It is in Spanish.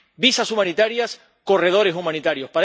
visados humanitarios, corredores humanitarios